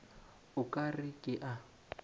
o ka re ke a